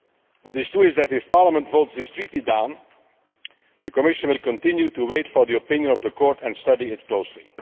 What is true is that, if Parliament votes this treaty down, the Commission will continue to wait for the opinion of the Court and study it closely.